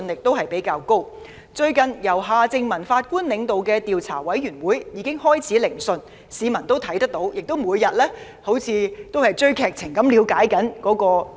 最近，由前法官夏正民領導的調查委員會已開始聆訊，市民每天猶如追看電視劇般了解調查進度。